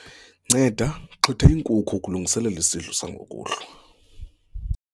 nceda xhwitha iinkuku ukungiselela isidlo sangokuhlwa